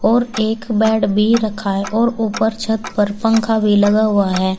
और एक बेड भी रखा है और ऊपर छत पर पंखा भी लगा हुआ है।